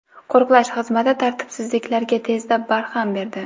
Qo‘riqlash xizmati tartibsizliklarga tezda barham berdi.